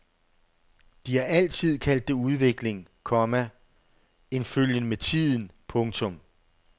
De har altid kaldt det udvikling, komma en følgen med tiden. punktum